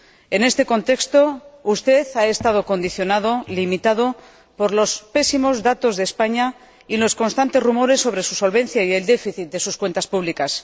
En este contexto, usted ha estado condicionado, limitado por los pésimos datos de España y los constantes rumores sobre su solvencia y el déficit de sus cuentas públicas.